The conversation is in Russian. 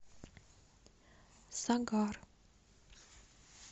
сагар